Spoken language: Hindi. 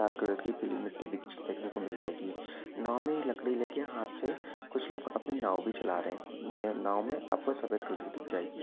लाल कलर की पीली मिट्टी दिख देखने को मिल जाएगी नाव मे लकड़ी लेके हाथ से कुच्छ लोग अपने नाव भी चला रहे ने नाव मे आपको सफ़ेद कलर की दिख जाएगी।